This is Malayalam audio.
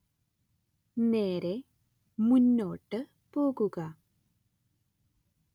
നേരേ മുന്നോട്ട് പോകുക